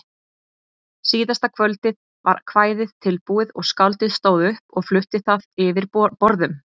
Síðasta kvöldið var kvæðið tilbúið og skáldið stóð upp og flutti það yfir borðum.